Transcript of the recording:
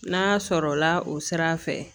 N'a sɔrɔ la o sira fɛ